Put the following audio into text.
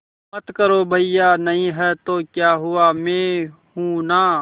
मत करो भैया नहीं हैं तो क्या हुआ मैं हूं ना